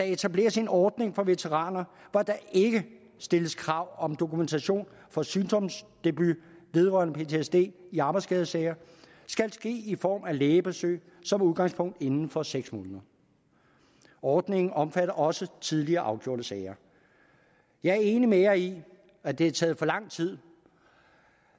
etableres en ordning for veteraner hvor der ikke stilles krav om at dokumentation for sygdomsdebut vedrørende ptsd i arbejdsskadesager skal ske i form af lægebesøg som udgangspunkt inden for seks måneder ordningen omfatter også tidligere afgjorte sager jeg er enig med jer i at det har taget for lang tid